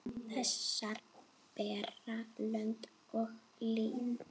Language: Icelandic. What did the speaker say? Þessar bera lönd og lýð.